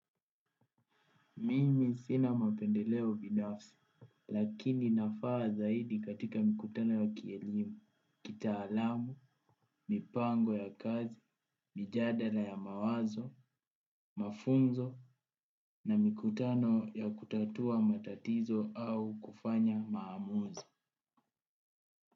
Mimi sina mapendeleo binafsi, lakini nafaa zaidi katika mikutano ya kielimu, kitaalamu, mipango ya kazi, mijadala ya mawazo, mafunzo na mikutano ya kutatua matatizo au kufanya maamuzi.